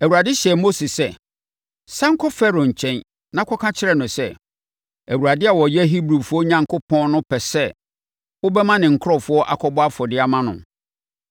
Awurade hyɛɛ Mose sɛ, “Sane kɔ Farao nkyɛn na kɔka kyerɛ no sɛ, Awurade a ɔyɛ Hebrifoɔ Onyankopɔn no pɛ sɛ wobɛma ne nkurɔfoɔ akɔbɔ afɔdeɛ ama no.”